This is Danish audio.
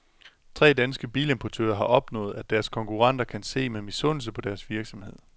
Tre danske bilimportører har opnået, at deres konkurrenter kan se med misundelse på deres virksomhed.